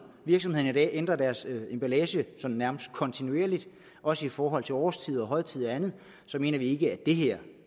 virksomhederne i dag ændrer deres emballage sådan nærmest kontinuerligt også i forhold til årstider og højtider og andet mener vi ikke at det her